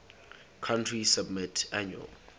country submit annual